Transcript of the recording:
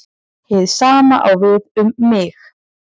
Hið sama á við um mig.